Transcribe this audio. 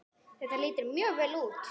Þetta lítur mjög vel út.